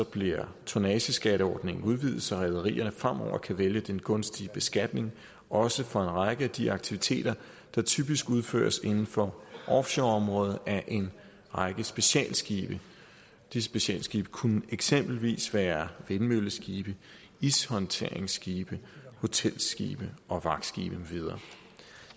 bliver tonnageskatteordningen udvidet så rederier fremover kan vælge den gunstige beskatning også for en række af de aktiviteter der typisk udføres inden for offshoreområdet af en række specialskibe disse specialskibe kunne eksempelvis være vindmølleskibe ishåndteringsskibe hotelskibe og vagtskibe med videre